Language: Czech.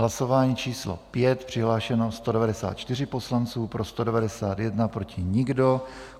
Hlasování číslo 5, přihlášeno 194 poslanců, pro 191, proti nikdo.